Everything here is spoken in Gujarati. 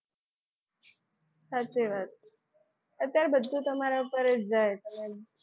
સાચી વાત અત્યારે બધું તમારી ઉપર જ જાય.